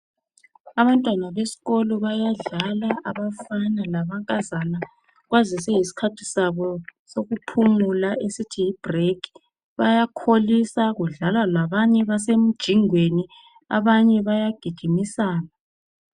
Abantwana besikolo bayadlala abafana lamankazana kwazise yisikhathi Sabo sokuphumula esithi yibrekhi bayakholisa kudlalwa labanye basemjingweni abanye bayagijimisana